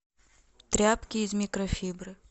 тряпки из микрофибры